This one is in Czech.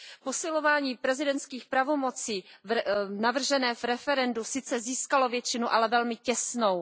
Posilování prezidentských pravomocí, navržené v referendu, sice získalo většinu, ale velmi těsnou.